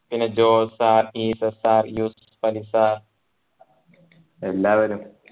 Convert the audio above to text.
പിന്നെ Jose sir Isaac sir Yusuf Ali sir എല്ലാവരും